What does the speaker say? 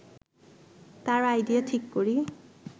তার আইডিয়া ঠিক করি